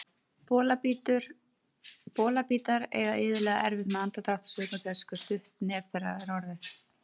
Bolabítar eiga iðulega erfitt með andardrátt sökum þess hve stutt nef þeirra er orðið.